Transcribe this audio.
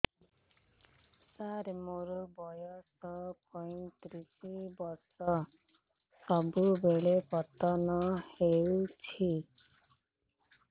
ସାର ମୋର ବୟସ ପୈତିରିଶ ବର୍ଷ ସବୁବେଳେ ପତନ ହେଉଛି